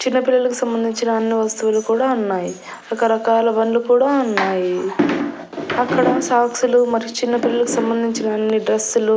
చిన్నపిల్లలకు సంబంధించిన అన్ని వస్తువులు కూడా ఉన్నాయి రకరకాల బండ్లు కూడా ఉన్నాయి అక్కడ సాక్స్ లు మరియు చిన్నపిల్లలకి సంబంధించిన అన్ని డ్రస్సులు --